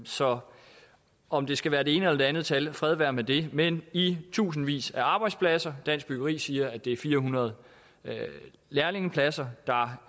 så om det skal være det ene eller det andet tal fred være med det men i tusindvis af arbejdspladser og dansk byggeri siger at det er fire hundrede lærlingepladser der